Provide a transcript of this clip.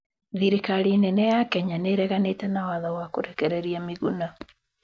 Thirikari nene ya Kenya nĩreganite na watho wa kurekereria Miguna